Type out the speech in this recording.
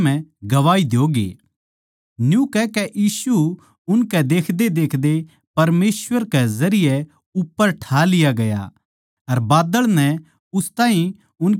न्यू कहकै यीशु उनकै देखदेदेखदे परमेसवर के जरिये उप्पर ठा लिया गया अर बाद्दळ नै उस ताहीं उनकी आँखां तै लको लिया